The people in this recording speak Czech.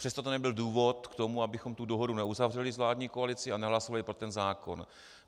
Přesto to nebyl důvod k tomu, abychom tu dohodu neuzavřeli s vládní koalicí a nehlasovali pro ten zákon.